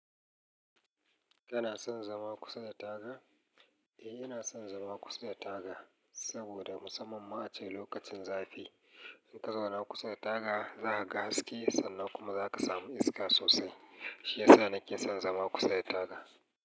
Kana son zama kusa da taga? Eh, ina son zama kusa da taga saboda musamman ma a ce lokacin zafi, in ka zauna kusa da taga za ka ga haske sannan kuma za ka samu iska sosai. Shi ya sa nake son zama kusa da taga.